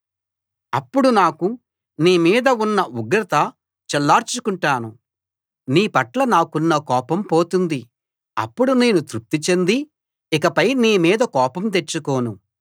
అప్పుడు నాకు నీ మీద ఉన్న ఉగ్రత చల్లార్చుకుంటాను నీ పట్ల నాకున్న కోపం పోతుంది అప్పుడు నేను తృప్తి చెంది ఇకపై నీ మీద కోపం తెచ్చుకోను